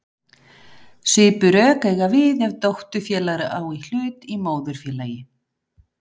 Svipuð rök eiga við ef dótturfélag á hlut í móðurfélagi.